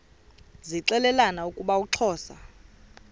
zixelelana ukuba uxhosa